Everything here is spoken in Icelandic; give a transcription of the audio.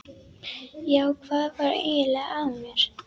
Já, hvað var eiginlega að mér?